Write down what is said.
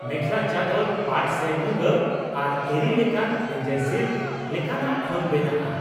ᱢᱮᱠᱷᱞᱟᱼᱪᱟᱫᱚᱨ ᱯᱟᱴᱷ ᱥᱮ ᱢᱩᱜᱟ ᱟᱨ ᱮᱨᱤ ᱞᱮᱠᱟᱱ ᱞᱮᱸᱡᱮᱨ ᱥᱤᱞᱠ ᱞᱮᱠᱟᱱᱟᱜ ᱠᱷᱚᱱ ᱵᱮᱱᱟᱜᱼᱟ ᱾